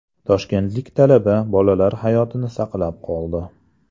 Toshkentlik talaba bolalar hayotini saqlab qoldi.